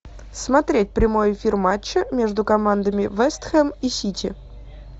смотреть прямой эфир матча между командами вест хэм и сити